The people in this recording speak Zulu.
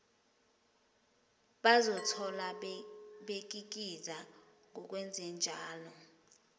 bazozithola bekikiza ngokwenzenjalo